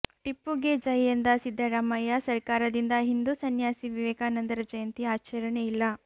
ಟಿಪ್ಪುಗೆ ಜೈ ಎಂದ ಸಿದ್ದರಾಮಯ್ಯ ಸರಕಾರದಿಂದ ಹಿಂದೂ ಸನ್ಯಾಸಿ ವಿವೇಕಾನಂದರ ಜಯಂತಿ ಆಚರಣೆ ಇಲ್ಲ